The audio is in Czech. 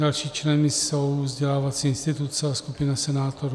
Dalšími členy jsou vzdělávací instituce a skupina senátorů.